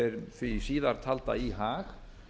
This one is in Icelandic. því síðartalda í hag